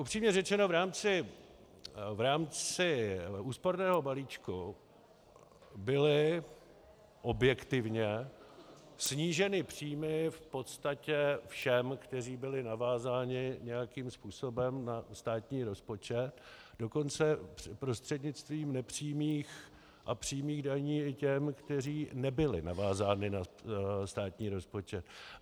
Upřímně řečeno, v rámci úsporného balíčku byly objektivně sníženy příjmy v podstatě všem, kteří byli navázáni nějakým způsobem na státní rozpočet, dokonce prostřednictvím nepřímých a přímých daní i těm, kteří nebyli navázáni na státní rozpočet.